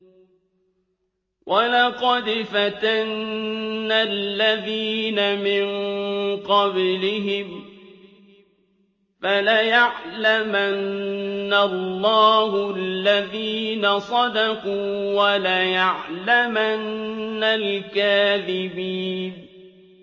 وَلَقَدْ فَتَنَّا الَّذِينَ مِن قَبْلِهِمْ ۖ فَلَيَعْلَمَنَّ اللَّهُ الَّذِينَ صَدَقُوا وَلَيَعْلَمَنَّ الْكَاذِبِينَ